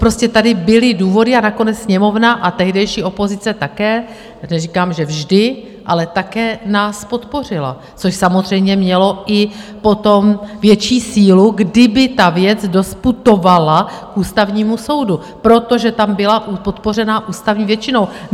Prostě tady byly důvody a nakonec Sněmovna a tehdejší opozice také - neříkám, že vždy - ale také nás podpořila, což samozřejmě mělo i potom větší sílu, kdyby ta věc doputovala k Ústavnímu soudu, protože tam byla podpořena ústavní většinou.